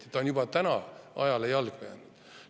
Nii et on juba praegu ajale jalgu jäänud.